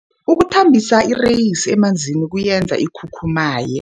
Ukuthambisa ireyisi emanzini kuyenza ikhukhumaye.